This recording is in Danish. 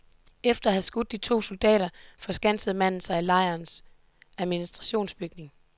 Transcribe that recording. Efter at have skudt de to soldater forskansede manden sig i lejren administrationsbygning.